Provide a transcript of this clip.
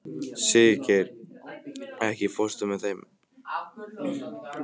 Siggeir, ekki fórstu með þeim?